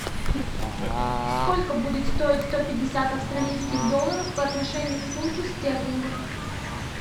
сколько будет стоить сто пятьдесят австралийских долларов по отношению к фунту стерлингов